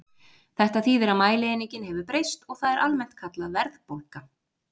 Þetta þýðir að mælieiningin hefur breyst og það er almennt kallað verðbólga.